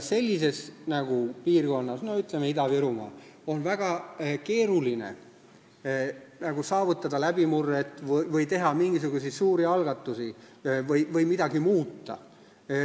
Sellises piirkonnas, ütleme näiteks Ida-Virumaal on väga keeruline saavutada läbimurret või teha mingisuguseid suuri algatusi või midagi muuta.